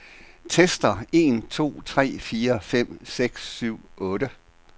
Tester en to tre fire fem seks syv otte.